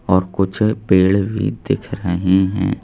और कुछ पेड़ भी दिख रहे हैं।